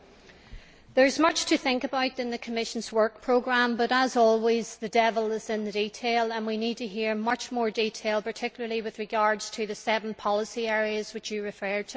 Madam President, there is much to think about in the Commission's work programme but, as always, the devil is in the detail and we need to hear much more detail, particularly with regard to the seven policy areas to which it refers.